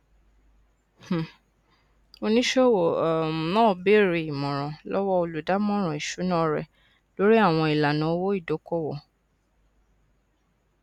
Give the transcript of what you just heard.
um oníṣòwò um náà bèèrè ìmọràn lọwọ olùdámọràn ìṣúná rẹ lórí àwọn ilana owó ìdókòwò